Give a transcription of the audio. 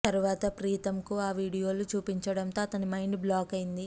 తరువాత ప్రీతమ్ కు ఆ వీడియోలు చూపించడంతో అతని మైండ్ బ్లాక్ అయ్యింది